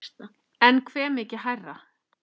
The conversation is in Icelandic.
En hve mikið hærra?